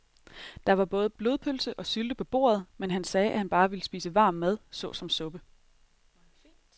Der var både blodpølse og sylte på bordet, men han sagde, at han bare ville spise varm mad såsom suppe.